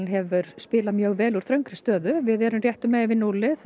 hefur spilað mjög vel úr þröngri stöðu við erum réttu megin við núllið